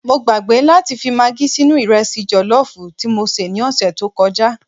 Mọ gbàgbé láti fi magí sínú Ìrẹsì jọ̀lọ́fù tí mọ sé ni ọsẹ̀ tọ kọjá